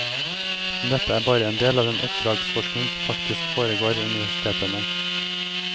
Men dette er bare en del av den oppdragsforskning som faktisk foregår ved universitetene.